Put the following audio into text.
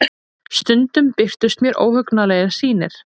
Stundum birtust mér óhugnanlegar sýnir.